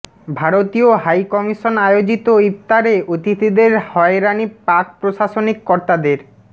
ভারতীয় হাইকমিশন আয়োজিত ইফতারে অতিথিদের হয়রানি পাক প্রশাসনিক কর্তাদের